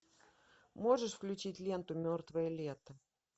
можешь включить ленту мертвое лето